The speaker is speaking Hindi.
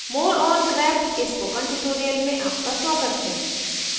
more on grep के spoken tutorial में आपका स्वागत है